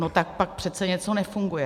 No tak pak přece něco nefunguje.